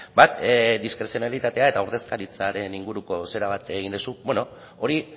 bat diskrezionalitatea eta ordezkaritzaren inguruko zera bat egin duzu hori